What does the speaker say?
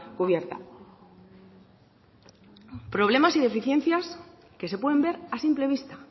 cubierta problemas y deficiencias que se pueden ver a simple vista